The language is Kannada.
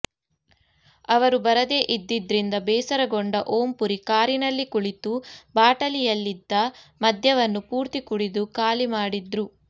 ಅವರು ಬರದೇ ಇದ್ದಿದ್ರಿಂದ ಬೇಸರಗೊಂಡ ಓಂಪುರಿ ಕಾರಿನಲ್ಲಿ ಕುಳಿತು ಬಾಟಲಿಯಲ್ಲಿದ್ದ ಮದ್ಯವನ್ನು ಪೂರ್ತಿ ಕುಡಿದು ಖಾಲಿ ಮಾಡಿದ್ರು